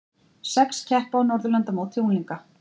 Sex keppa á Norðurlandamóti unglinga